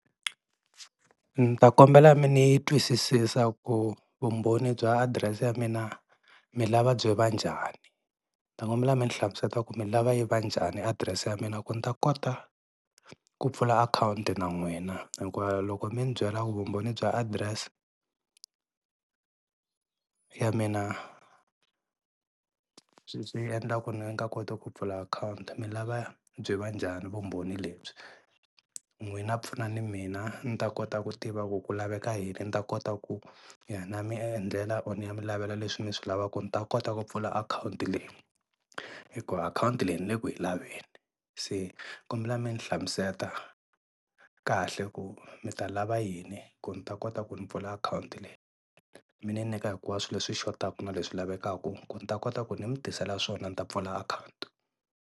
Ni ta kombela mi ni twisisisa ku vumbhoni bya address ya mina mi lava byi va njhani, ni ta kombela mi ni hlamusela ku mi lava yi va njhani address ya mina ku ni ta kota ku pfula akhawunti na n'wina hinkwayo loko mi ni byela ku vumbhoni bya adirese ya mina swi endla ku ni nga koti ku pfula akhawunti mi lava byi va njhani vumbhoni lebyi? N'wina pfunani mina ni ta kota ku tiva ku ku laveka yini ni ta kota ku ni ya mi endlela or ni ya mi lavela leswi mi swi lavaka ni ta kota ku pfula akhawunti leyi hikuva akhawunti leyi ni le ku yi laveni se ni kombela mi ni hlamusela kahle ku mi ta lava yini ku ni ta kota ku ni pfula akhawunti leyi, mi ni nyika hinkwaswo leswi swi xotaka na leswi lavekaka ku ni ta kota ku ni mi tisela swona ni ta pfula akhawunti.